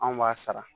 Anw b'a sara